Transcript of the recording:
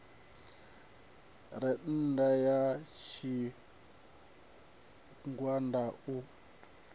re nnda ha tshigwada u